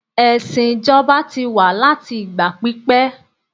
ẹsìn ijoba ti wa láti ìgbà pípé